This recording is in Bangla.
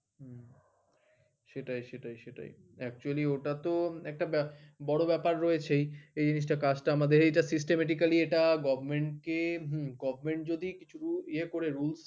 সেটাই সেটাই সেটাই actually ওটাতো একটা ব্যা বড় ব্যাপার রয়েছেই এই জিনিসটা কাজটা আমাদের এইটা systematically এটা government কে government যদি কিছু ইয়ে করে rules